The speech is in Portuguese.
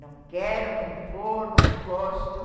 Não quero, não vou, não gosto.